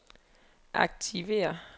aktiver